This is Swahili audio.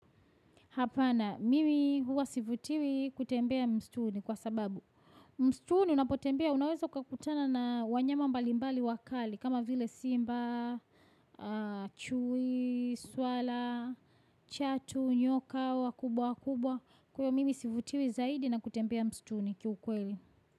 Hapana, mimi huwa sivutiwi kutembea mstuni kwa sababu. Msituni unapotembea, unaweza kukutana na wanyama mbalimbali wakali, kama vile simba, chui, swala, chatu, nyoka wakubwa wakubwa. Kwa hiyo mimi sivutiwi zaidi na kutembea msituni kiukweli.